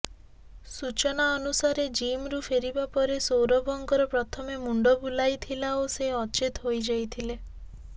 ସୂଚନା ଅନୁସାରେ ଜିମ୍ରୁ ଫେରିବା ପରେ ସୌରଭଙ୍କର ପ୍ରଥମେ ମୁଣ୍ଡ ବୁଲାଇଥିଲା ଓ ସେ ଅଚେତ ହୋଇଯାଇଥିଲେ